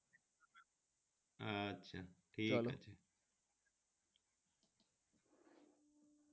আচ্ছা ঠিক আছে